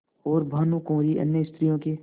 और भानुकुँवरि अन्य स्त्रियों के